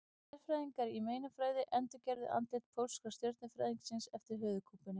Sérfræðingar í meinafræði endurgerðu andlit pólska stjörnufræðingsins eftir höfuðkúpunni.